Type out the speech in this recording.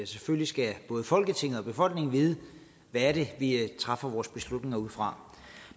selvfølgelig skal både folketinget og befolkningen vide hvad det vi træffer vores beslutning ud fra